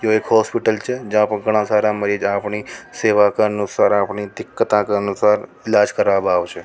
यो एक हॉस्पिटल छ जहाँ पर घणा सारा मरीज अपनी सेवा का अनुसार अपनी दिक्कत के अनुसार इलाज कराओ आवै छ।